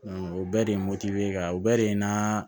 o bɛɛ de ye ka o bɛɛ de ye n na